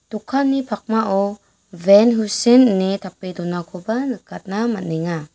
dokanni pakmao ben husen ine tape donakoba nikatna man·enga.